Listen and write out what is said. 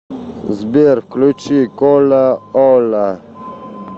сбер включи коляоля